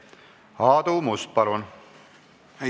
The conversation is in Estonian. Aadu Must, palun!